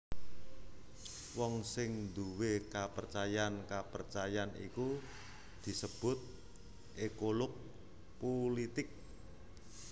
Wong sing nduwé kapercayan kapercayan iku disebut ékolog pulitik